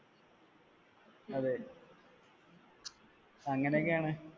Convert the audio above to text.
അതെ അങ്ങനെയൊക്കെ ആണ്